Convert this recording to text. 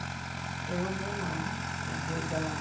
Então, eu vou lá, ajuda lá.